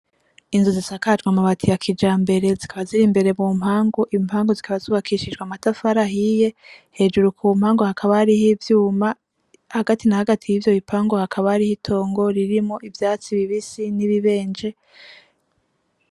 Inzu zisakajwe amabati ya kijambere zikaba ziri imbere mu mpangu. Impangu zikaba zubakishijwe amatafari ahiye. Hejuru ku mpangu hakaba hariho ivyuma. Hagati na hagati y'ivyo bipangu hakaba hariho itongo ririmwo ivyatsi bibisi ni bibenje.